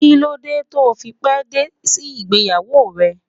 Kí ló dé to fi pé dé sí ìgbéyàwó rẹ?